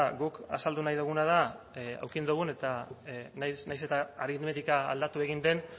guk azaldu nahi duguna da eduki dugun eta nahiz eta aritmetika aldatu egin den